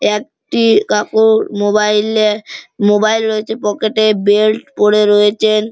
একটি কাকুর মোবাইল -এ মোবাইল রয়েছে পকেট -এ বেল্ট পড়ে রয়েছেন।